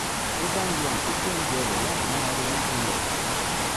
bó bá ń lo àkókò oúnjẹ rẹ̀ láti máa ronú jinlẹ̀